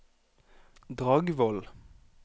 Dragvoll